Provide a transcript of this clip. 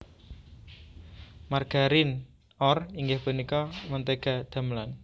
Margarin or inggih punika mentéga damelan